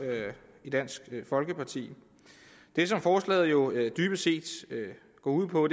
i dansk folkeparti det som forslaget jo dybest set går ud på